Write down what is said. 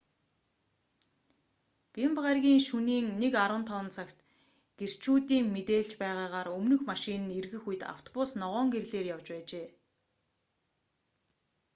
бямба гарагийн шөнийн 1:15 цагт гэрчүүдийн мэдээлж байгаагаар өмнөх машин нь эргэх үед автобус ногоон гэрлээр явж байжээ